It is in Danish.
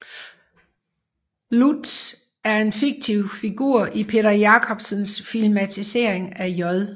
Lurtz er en fiktiv figur i Peter Jacksons filmatisering af J